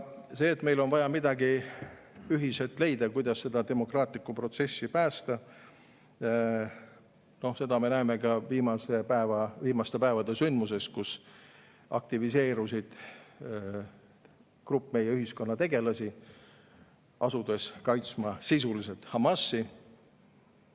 Seda, et meil on vaja ühiselt leida, kuidas demokraatlikku protsessi päästa, me näeme ka viimaste päevade sündmustes, kus aktiviseerus grupp ühiskonnategelasi, asudes sisuliselt Hamasi kaitsma.